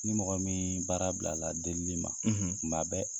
Ni mɔgɔ miin baara bilala delili ma, kuma bɛɛ